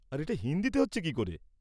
আর এটা হিন্দিতে হচ্ছে কী করে?